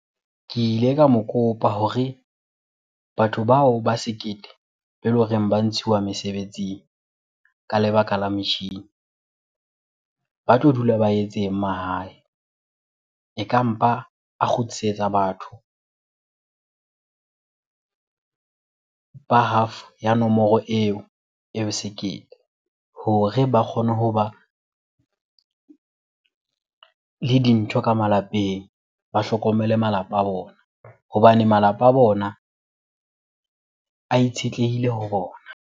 Ke ile ka mo kopa hore batho bao ba sekete beleng hore ba ntshiwa mesebetsing ka lebaka la metjhini, ba tlo dula ba etseng mahae? Eka mpa a kgutlisetsa batho ba half ya nomoro eo e sekete hore ba kgone hoba le dintho ka malapeng ba hlokomele malapa a bona. Hobane malapa a bona a itshetlehile ho bona.